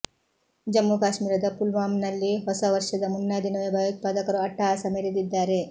ಜಮ್ಮು ಕಾಶ್ಮೀರದ ಪುಲ್ವಾಮ್ ನಲ್ಲಿ ಹೊಸ ವರ್ಷದ ಮುನ್ನಾ ದಿನವೇ ಭಯೋತ್ಪಾದಕರು ಅಟ್ಟಹಾಸ ಮೆರೆದಿದ್ದಾರೆ